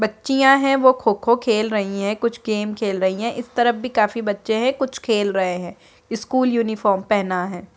बच्चिया है वो खो-खो खेल रही है कुछ गेम खेल रही है इस तरफ भी काफी बच्चे है कुछ खेल रहे है स्कूल यूनिफार्म पहना है।